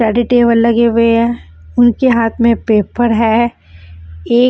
ready table लगे हुए हैं उनके हाथ में पेपर है एक --